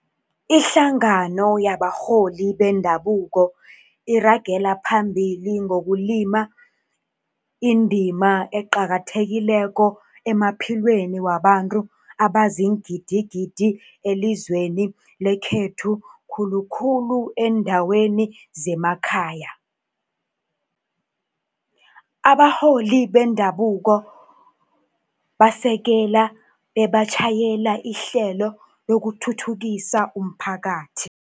Ihlangano yabarholi bendabuko iragela phambili ngokulima indima eqakathekileko emaphilweni wabantu abaziingidigidi elizweni le khethu, khulukhulu eendaweni zemakhaya. Abarholi bendabuko basekela bebatjhayela ihlelo lokuthuthukisa umphakathi.